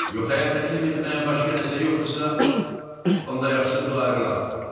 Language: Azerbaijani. Yox əgər təklif etməyə başqası yoxdursa, onda yaxşısı budur ayrılaq.